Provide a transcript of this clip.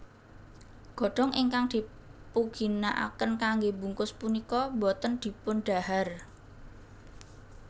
Godhong ingkang dipuginakaken kanggé bungkus punika boten dipundhahar